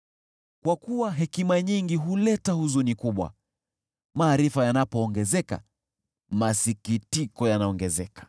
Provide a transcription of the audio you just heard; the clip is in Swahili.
Kwa kuwa hekima nyingi huleta huzuni kubwa; maarifa yanapoongezeka, masikitiko yanaongezeka.